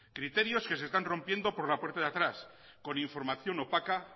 criterios que se están rompiendo por la puerta de atrás con información opaca